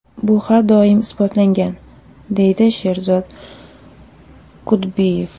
Bu har doim isbotlangan”, deydi Sherzod Kudbiyev.